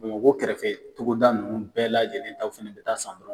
Bamakɔ kɛrɛfɛ togoda ninnu bɛɛ lajɛlen ta fana bɛ taa san bolo